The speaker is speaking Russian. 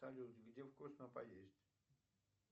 салют где вкусно поесть